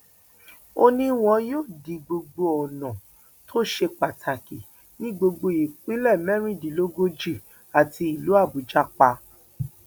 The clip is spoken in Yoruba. ó ní wọn yóò di gbogbo ọnà tó ṣe pàtàkì ní gbogbo ìpínlẹ mẹrìndínlógójì àti ìlú àbújá pa